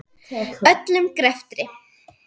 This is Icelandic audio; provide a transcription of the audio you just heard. Öllum greftri